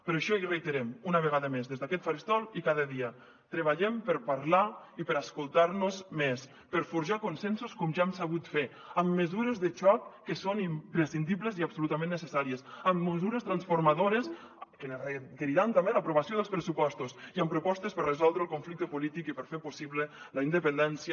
per això ho reiterem una vegada més des d’aquest faristol i cada dia treballem per parlar i per escoltar nos més per forjar consensos com ja hem sabut fer amb mesures de xoc que són imprescindibles i absolutament necessàries amb mesures transformadores que ens requeriran també l’aprovació dels pressupostos i amb propostes per resoldre el conflicte polític i per fer possible la independència